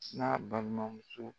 n'a balimamuso